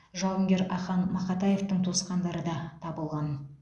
жауынгер ахан мақатаевтың туысқандары да табылған